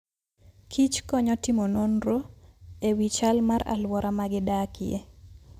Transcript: kich konyo timo nonro e wi chal mar alwora ma gidakie.